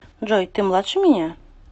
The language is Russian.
джой ты младше меня